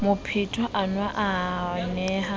mophetwa enwa o ne a